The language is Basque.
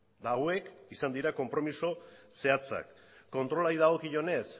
eta hauek izan dira konpromiso zehatzak kontrolari dagokionez